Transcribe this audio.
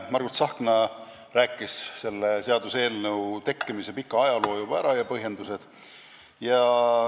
Margus Tsahkna rääkis selle seaduseelnõu tekkimise pika ajaloo juba ära ja tõi ka põhjendused.